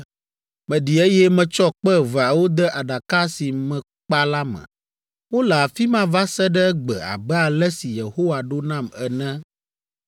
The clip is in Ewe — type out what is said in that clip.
Meɖi eye metsɔ kpe eveawo de Aɖaka si mekpa la me. Wole afi ma va se ɖe egbe abe ale si Yehowa ɖo nam ene.